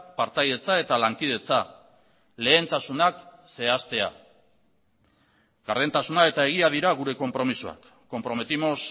partaidetza eta lankidetza lehentasunak zehaztea gardentasuna eta egia dira gure konpromisoak comprometimos